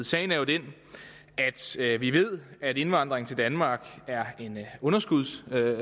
sagen er den at vi ved at indvandring til danmark er en underskudsforretning